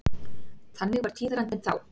Þannig var tíðarandinn þá.